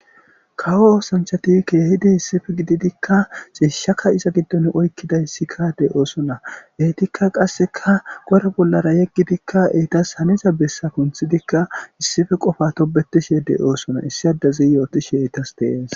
kawo oosanchati keehidi issife gididikka siishshaka iza giddon oykkiday sikadey oosona heetikka qasseka gore bollara yeggidikka eetas haniza bessa punthidikka issife qofa tobetishedey oosona issi addazi yooti sheytas deees